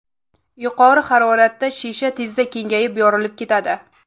Yuqori haroratda shisha tezda kengayib, yorilib ketadi.